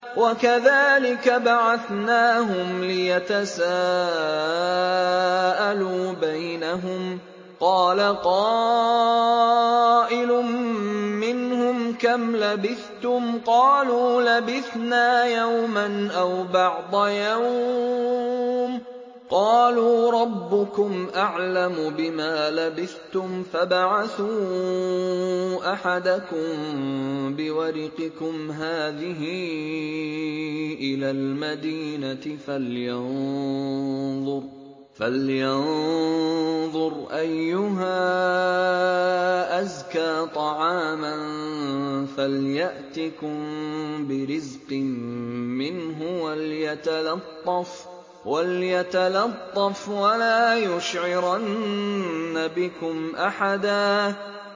وَكَذَٰلِكَ بَعَثْنَاهُمْ لِيَتَسَاءَلُوا بَيْنَهُمْ ۚ قَالَ قَائِلٌ مِّنْهُمْ كَمْ لَبِثْتُمْ ۖ قَالُوا لَبِثْنَا يَوْمًا أَوْ بَعْضَ يَوْمٍ ۚ قَالُوا رَبُّكُمْ أَعْلَمُ بِمَا لَبِثْتُمْ فَابْعَثُوا أَحَدَكُم بِوَرِقِكُمْ هَٰذِهِ إِلَى الْمَدِينَةِ فَلْيَنظُرْ أَيُّهَا أَزْكَىٰ طَعَامًا فَلْيَأْتِكُم بِرِزْقٍ مِّنْهُ وَلْيَتَلَطَّفْ وَلَا يُشْعِرَنَّ بِكُمْ أَحَدًا